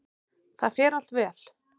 Það fer allt vel.